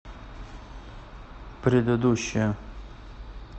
предыдущая